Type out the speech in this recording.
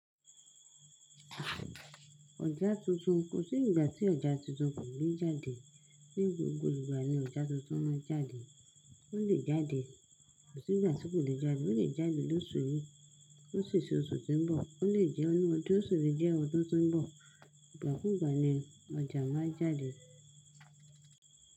Ọjà tuntun, kò sí ìgbà tí ọjà tuntun kò le jáde. Ní gbogbo ìgbà ni ọjà tuntun máa ń jáde. Ó lè jáde, kò sí ìgbà tí kò le jáde, ó lè jáde lóṣù yìí ó sì se oṣù tí ń bọ̀, ó lè jẹ́ nínú ọdún yìí ó sì lè jẹ́ ọdún tí ń bọ̀. Ìgbà kúùgbà ni ọjà máa ń jáde.